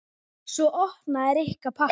Svo opnaði Rikka pakkann.